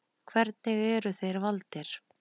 Hvernig eru þeir valdir?